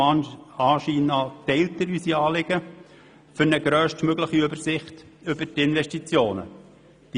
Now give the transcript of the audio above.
Dem Anschein nach teilt er unsere Anliegen, eine grösstmögliche Übersicht über die Investitionen zu erhalten.